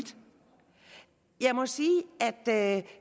jeg må sige at